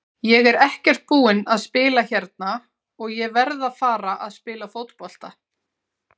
Ég er ekkert búinn að spila hérna og ég verð að fara að spila fótbolta.